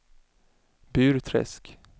Burträsk